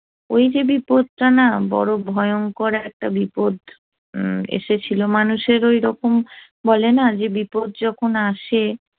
ওই যে বিপদটা না বড় ভয়ঙ্কর একটা বিপদ এসেছিল মানুষের ওই রকম বলে না যে বিপদ যখন আসে